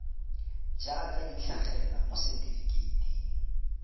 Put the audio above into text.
jaaka di tlhagelela mo setefikeiting